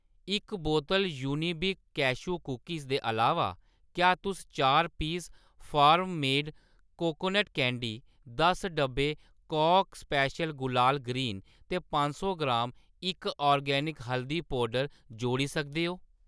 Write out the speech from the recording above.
इक बोतल Unibic cashew cookies दे अलावा, क्या तुस चार piece farm made coconut candy, दस डब्बे कॉक स्पैशल गुलाल ग्रीन ते पंज सौ ग्राम इक आर्गेनिक हल्दी पौडर जोड़ी सकदे ओ ?